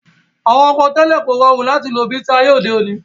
Àwọn ọkọ̀ tẹ́lẹ̀ kò rọrùn láti lò bi ti ayé òde òní